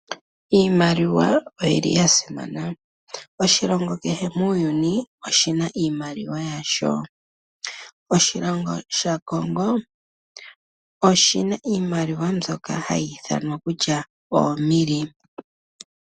Iimaliwa oyili ya simana . Oshilongo keshe muuyuni oshina iimaliwa yasho. Oshilongo sha Kongo oshina iimaliwa mbyoka hayi ithanwa kutya omili